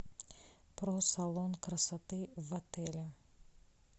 про салон красоты в отеле